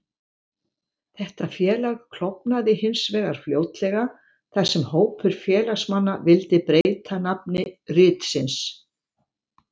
Þetta félag klofnaði hins vegar fljótlega, þar sem hópur félagsmanna vildi breyta nafni ritsins.